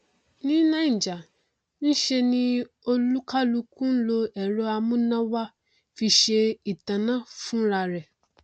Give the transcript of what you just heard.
ní naija nṣe ni olúkálukú nlo ẹrọ amúnáwá fi ṣe ìtanná fúnrarẹ